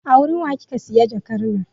A wurin wa kika siya jakar nan?